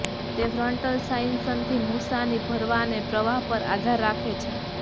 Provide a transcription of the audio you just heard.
તે ફ્રન્ટલ સાઇનસથી મૂસાની ભરવા અને પ્રવાહ પર આધાર રાખે છે